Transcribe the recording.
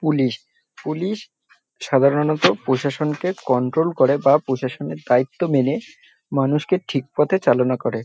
police police সাধারনত প্রশাসনকে control করে বা প্রশাসনের দায়িত্ব মেনে মানুষকে ঠিক পথে চালনা করে